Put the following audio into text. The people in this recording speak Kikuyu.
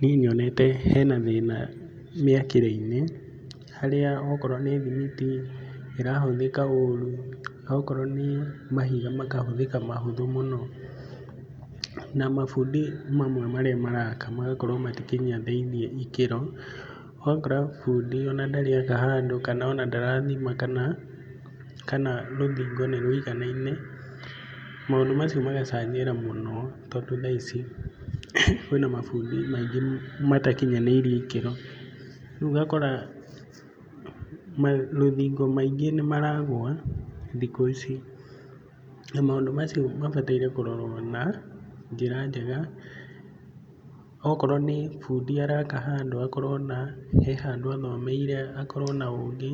Niĩ nyonete hena thĩna mĩakĩre-inĩ, harĩa okorwo nĩ thimiti ĩrahũthĩka ũru, okorwo nĩ mahiga makahũthĩka mahũthũ mũno, na mabundi mamwe marĩa maraka magakorwo matikinyanĩirie ikĩro. Ũgakora bundi ona ndarĩ aka handũ kana ona ndarathima kana kana rũthingo nĩrũiganaine, maũndũ macio magacangĩra mũno tondũ thaa ici kwĩna mabundi maingĩ matakinyanĩirie ikĩro. Rĩu ũgakora marũthingo maingĩ nĩmaragwa thikũ ici, na maũndũ macio mabataire kũrorwo na njĩra njega, okorwo nĩ bundi araka handũ akorwo na, he handũ athomeire akorwo na ũgĩ